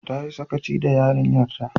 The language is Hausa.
Ta yi sakaci da yarinyar ta